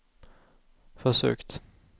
försökt